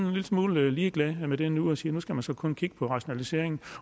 lille smule ligeglad med det nu og siger at nu skal man så kun kigge på rationalisering